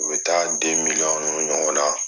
U bɛ taa de miliyɔn ninnu ɲɔgɔn na